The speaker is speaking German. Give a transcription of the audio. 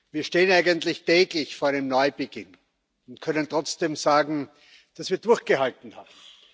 Wir stehen eigentlich täglich vor einem Neubeginn und können trotzdem sagen, dass wir durchgehalten haben.